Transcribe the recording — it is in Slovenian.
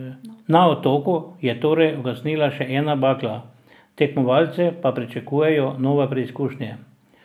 Na otoku je torej ugasnila še ena bakla, tekmovalce pa pričakujejo nove preizkušnje.